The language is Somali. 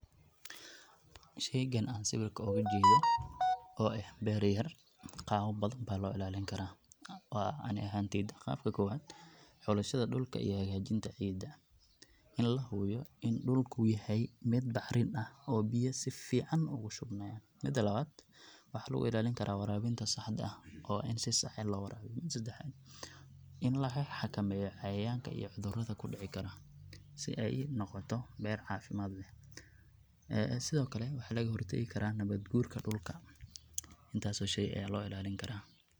sheygan an sawirka oga jeedo oo eh bereya qabab badan ba loo ilaaliya, ani ahanteyda. qabka kobaad; xulashada dhulka iyo hagajinta ciida, in la hubiyo in dhulku yahay mid bacrin ah oo biya sifican ogu shub maya, Mida labaad; waxa lugu ilaalin karaa warabinta saxda ah oo in si sax eh loo warabiyo. sedaxaad, in laga xakameeyo iyo cudurada kudhici karo si ay unoqoto ber caafimaad leh. Ee sidokale waxa laga hor tegi karaa nabaad gurka dhulka. intaas oo shey aya loo ilaalin karaa